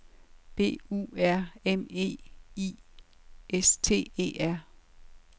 B U R M E I S T E R